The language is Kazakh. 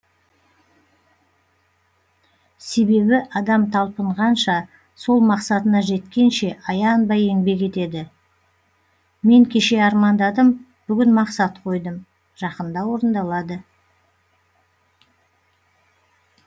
себебі адам талпынғанша сол мақсатына жеткенше аянбай еңбек етеді мен кеше армандадым бүгін мақсат қойдым жақында орындалады